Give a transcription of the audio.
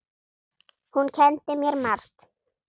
Hún kenndi mér margt.